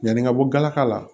Ɲani ka bɔ galaka la